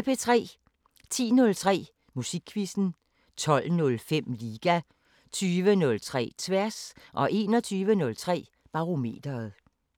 10:03: Musikquizzen 12:05: Liga 20:03: Tværs 21:03: Barometeret